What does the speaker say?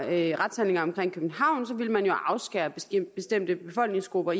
alle retshandlinger omkring københavn ville man jo afskære bestemte befolkningsgrupper